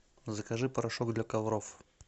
закажи порошок для ковров